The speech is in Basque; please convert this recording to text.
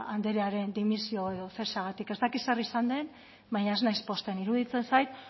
andrearen dimisio edo zeseagatik ez dakit zer izan den baina ez naiz pozten iruditzen zait